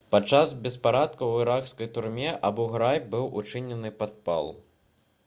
падчас беспарадкаў у іракскай турме абу-грайб быў учынены падпал